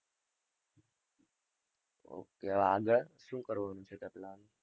ok હવે આગળ? શું કરવાનું છે